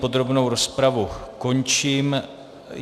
Podrobnou rozpravu končím.